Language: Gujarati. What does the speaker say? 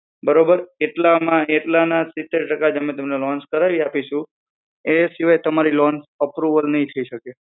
બરોબર કેટલામાં કેટલા ના સિતેર ટકા જ અમે તમને loan કરાઈ આપીશું એના સિવાય તમારી loan approval નહિ થઇ શકે